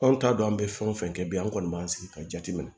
Anw t'a dɔn an bɛ fɛn o fɛn kɛ bi an kɔni b'an sigi ka jateminɛ